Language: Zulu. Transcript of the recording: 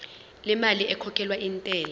lemali ekhokhelwa intela